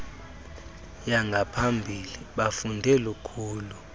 yangaphambili bafunde lukhulu